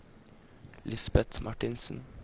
Lisbet Martinsen